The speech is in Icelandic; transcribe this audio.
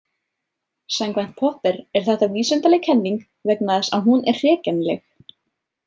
Samkvæmt Popper er þetta vísindaleg kenning vegna þess að hún er hrekjanleg.